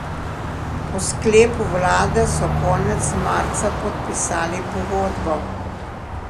Po sklepu vlade so konec marca podpisali pogodbo.